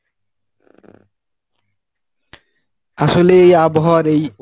আসলে এই আবহাওয়া র এই